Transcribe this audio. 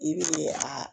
I bɛ a